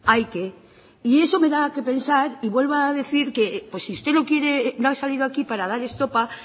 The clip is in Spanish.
hay que y eso me da qué pensar y vuelvo a decir que si usted no ha salido aquí para dar estopa